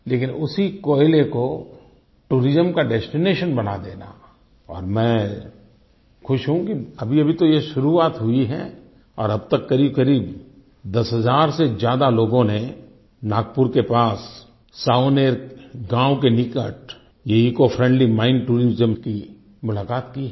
लेकिन उसी कोयले को टूरिज्म का डेस्टिनेशन बना देना और मैं खुश हूँ कि अभीअभी तो ये शुरुआत हुई है और अब तक क़रीब दस हज़ार से ज्यादा लोगों ने नागपुर के पास सावनेर गाँव के निकट ये ईसीओ फ्रेंडली माइन टूरिज्म की मुलाक़ात की है